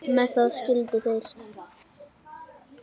Með það skildu þeir.